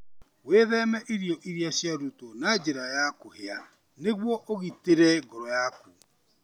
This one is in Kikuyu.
Wĩtheme irio iria ciarutwo na njĩra ya kũhĩa nĩguo ũgitĩre ngoro yaku.